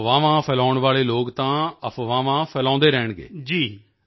ਇਹ ਅਫਵਾਹਾਂ ਫੈਲਾਉਣ ਵਾਲੇ ਲੋਕ ਤਾਂ ਅਫਵਾਹਾਂ ਫੈਲਾਉਂਦੇ ਰਹਿਣਗੇ